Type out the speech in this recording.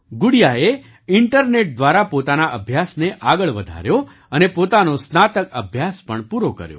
ગુડિયાએ internet દ્વારા પોતાના અભ્યાસને આગળ વધાર્યો અને પોતાનો સ્નાતક અભ્યાસપણ પૂરો કર્યો